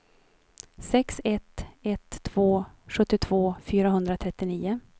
sex ett ett två sjuttiotvå fyrahundratrettionio